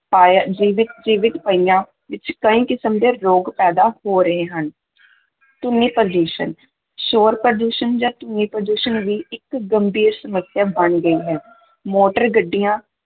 ਪਾਇਆ ਜੀਵਿਤ ਜੀਵਿਤ ਪਈਆਂ ਵਿੱਚ ਕਈ ਕਿਸਮ ਦੇ ਰੋਗ ਪੈਦਾ ਹੋ ਰਹੇ ਹਨ ਧੁਨੀ ਪ੍ਰਦੂਸ਼ਣ, ਸ਼ੋਰ-ਪ੍ਰਦੂਸ਼ਣ ਜਾਂ ਧੁਨੀ-ਪ੍ਰਦੂਸ਼ਣ ਵੀ ਇੱਕ ਗੰਭੀਰ ਸਮੱਸਿਆ ਬਣ ਗਈ ਹੈ, ਮੋਟਰ ਗੱਡੀਆਂ